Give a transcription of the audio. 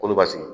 Kolobasigi